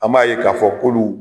An b'a ye k'a fɔ kunun